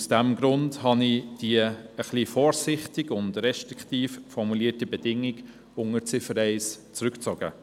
Aus diesem Grund habe ich die etwas vorsichtig und restriktiv formulierte Bedingung unter Ziffer 1 zurückgezogen.